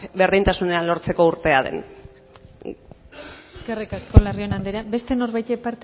berdintasunean lortzeko urtea den eskerrik asko larrion andrea beste norbaitek